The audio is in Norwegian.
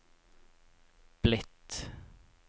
blitt